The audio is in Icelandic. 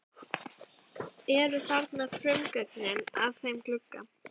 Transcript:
Eru þarna frumgögnin að þeim glugga.